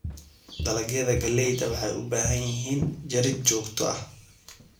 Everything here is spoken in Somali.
Dalagyada galleyda waxay u baahan yihiin jarid joogto ah.